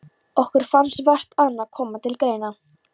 Okkur fannst vart annað koma til greina.